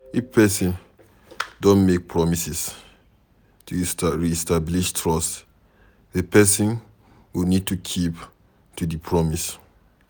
if person don make promises, to re-establish trust di person go need to keep to di promise